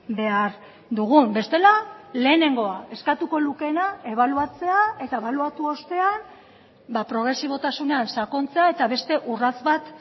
behar dugun bestela lehenengoa eskatuko lukeena ebaluatzea eta ebaluatu ostean progresibotasunean sakontzea eta beste urrats bat